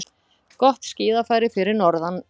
Gott skíðafæri fyrir norðan